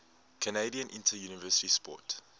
canadian interuniversity sport